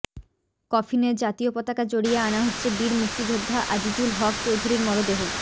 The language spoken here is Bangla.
কফিনে জাতীয় পতাকা জড়িয়ে আনা হচ্ছে বীর মুক্তিযোদ্ধা আজিজুল হক চৌধুরীর মরদেহ